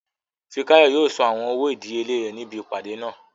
Fikáyọ̀ yóò san àwọn owó ìdíyelé rẹ̀ níbi ìpàdé náà